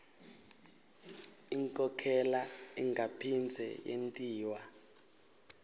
inkhokhela ingaphindze yentiwa